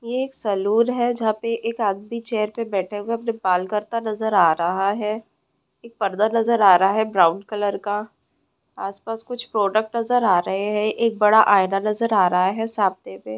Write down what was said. एक सलून है जहाँ पॆ एक आदमी चेयर पर बैठे हुए अपने बाल करता नजर आ रहा है। एक पर्दा नजर आ रहा है ब्राउन कलर का आस-पास कुछ प्रोडक्ट्स नजर आ रहे है एक बड़ा आयना नज़र आ रहा है सामनॆ मॆ--